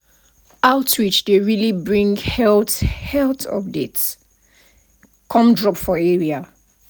outreach dey really bring health health update come drop for area.